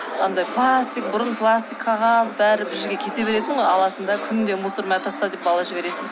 андай пластик бұрын пластик қағаз бәрі бір жерге кете беретін ғой аласың да күнде мусо мә таста деп бала жібересің